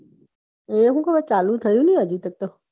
એ હજુ ચાલુ થાય નાય હજી તક તો